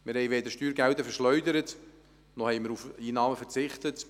Wir haben weder Steuergelder verschleudert noch haben wir auf Einnahmen verzichtet.